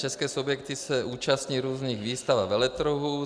České subjekty se účastní různých výstav a veletrhů.